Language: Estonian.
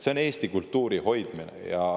See on Eesti kultuuri hoidmine.